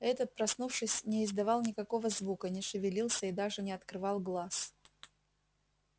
этот проснувшись не издавал никакого звука не шевелился и даже не открывал глаз